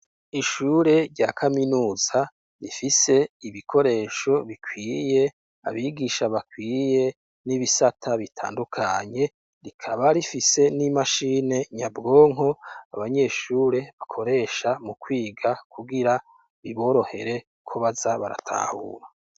Ishure rya kaminuza rifise ibikoresho bikwiye abigisha bakwiye n'ibisata bitandukanye rikaba rifise n'imashini nyabwonko abanyeshure bakoresha mu kwiga kugira biborohere ko baza baratahura.